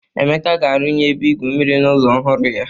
Emeka a-arunye ebe igu mmiri n'ụlọ ọhụrụ ya.